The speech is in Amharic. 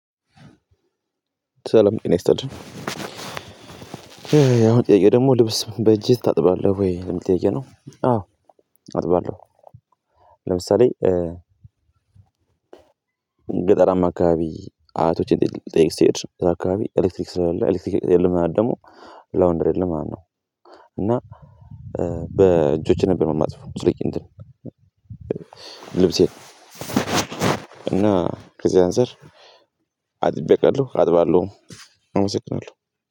ሰለም ጤና ይስጥልኝ የአሁኑ ጥያቄ ደግሞ ልብስ በእጅህ ታጥባለህ ወይ የሚል ጥያቄ ነው? አዎ አጥባለሁ። ለምሳሌ ገጠራማ አካባቢ አያቶቼን ጠይቅ ስሄድ ገጠር አካባቢ ኤሌክትሪክ ስለሌለ ኤሌክትሪክ የለም። ማለት ደግሞ ላውንደሪ የለም ማለት ነው። እና በእጆቼ ነበር የማጥበው የምትለይ እንትን ልብሴ እና ከዚህ አንፃር አጥቤ አውቃለሁ አጥባለሁ። አመሰግናለሁ